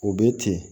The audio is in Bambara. O bɛ ten